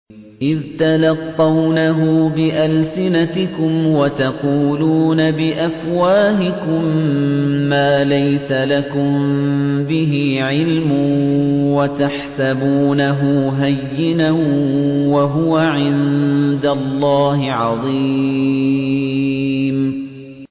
إِذْ تَلَقَّوْنَهُ بِأَلْسِنَتِكُمْ وَتَقُولُونَ بِأَفْوَاهِكُم مَّا لَيْسَ لَكُم بِهِ عِلْمٌ وَتَحْسَبُونَهُ هَيِّنًا وَهُوَ عِندَ اللَّهِ عَظِيمٌ